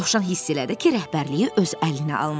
Dovşan hiss elədi ki, rəhbərliyi öz əlinə almalıdır.